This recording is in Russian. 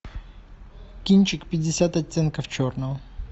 кинчик пятьдесят оттенков черного